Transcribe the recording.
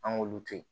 An k'olu to yen